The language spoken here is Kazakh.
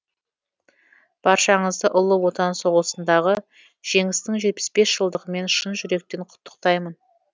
баршаңызды ұлы отан соғысындағы жеңістің жетпіс бес жылдығымен шын жүректен құттықтаймын